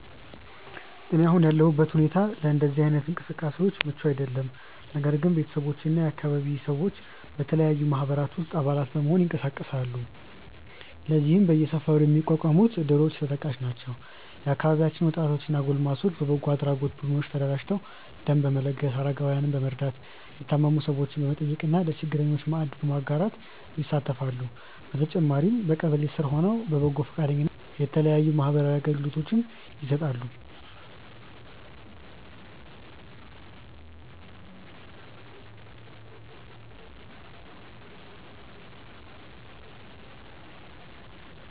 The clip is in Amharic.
እኔ አሁን ያለሁበት ሁኔታ ለእንደዚህ አይነት እንቅስቃሴዎች ምቹ አይደለም። ነገር ግን ቤተሰቦቼ እና የአካባቢያችን ሰዎች በተለያዩ ማህበራት ውስጥ አባላት በመሆን ይንቀሳቀሳሉ። ለዚህም በየሰፈሩ የሚቋቋሙት እድሮች ተጠቃሽ ናቸው። የአካባቢያችን ወጣቶች እና ጎልማሶች በበጎ አድራጎት ቡድኖች ተደራጅተው ደም በመለገስ፣ አረጋውያንን በመርዳት፣ የታመሙ ሰዎችን በመጠየቅ እና ለችግረኞች ማዕድ በማጋራት ይሳተፋሉ። በተጨማሪም በቀበሌ ስር ሆነው በበጎ ፈቃደኝነት የተለያዩ ማህበራዊ አገልግሎቶችን ይሰጣሉ።